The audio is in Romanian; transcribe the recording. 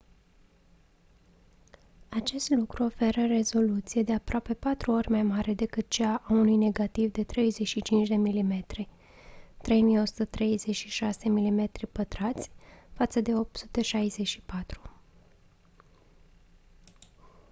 acest lucru oferă rezoluție de aproape patru ori mai mare decât cea a unui negativ de 35 mm 3136 mm2 față de 864